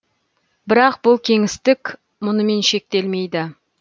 бірақ бұл кеңістік мұнымен шектелмейді